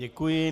Děkuji.